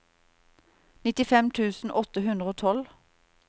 nittifem tusen åtte hundre og tolv